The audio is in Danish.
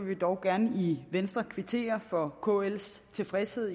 vi dog gerne i venstre kvittere for kls tilfredshed